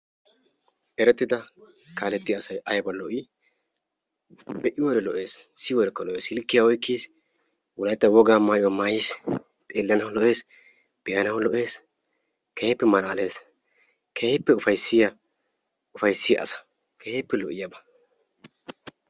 Erettida kaalletiya asay aybba lo''i! Be'iyoode lo''ees, siyyiyoode lo''ees, silkkiya oykkiis, wolaytta wogaa maayyuwa maayyiis, xeellanaw lo''ees, be'anaw lo''ees keehippe malaalees, keehippe ufayssiya asa, keehippe lo''oyaaba.